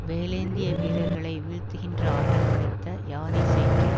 வேலேந்திய வீரர்களை வீழ்த்துகின்ற ஆற்றல் படைத்த யானை சேற்றில்